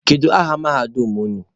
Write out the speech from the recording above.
Kedu aha mahadum unu?